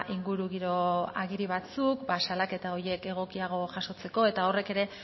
ingurugiro agiri batzuk ba salaketa horiek egokiago jasotzeko eta horrek ere